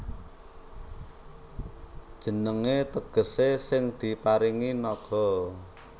Jenengé tegesé Sing Diparingi Naga